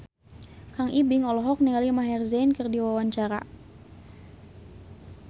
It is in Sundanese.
Kang Ibing olohok ningali Maher Zein keur diwawancara